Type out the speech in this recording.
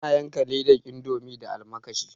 Ina yanka ledan indomi da almakashi